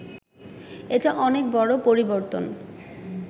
এটা অনেক বড় পরিবর্তন